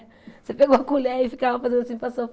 Você pegou a colher e ficava fazendo assim para